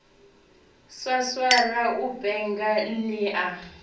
swaswara u penga ni a